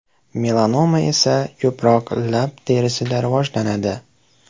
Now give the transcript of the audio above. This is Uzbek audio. Melanoma esa ko‘proq lab terisida rivojlanadi.